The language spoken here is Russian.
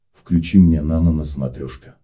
включи мне нано на смотрешке